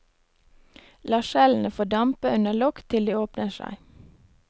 La skjellene få dampe under lokk til de åpner seg.